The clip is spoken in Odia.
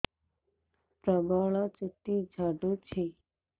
ପ୍ରବଳ ଚୁଟି ଝଡୁଛି